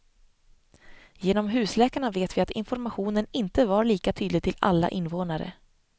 Genom husläkarna vet vi att informationen inte var lika tydlig till alla invånare.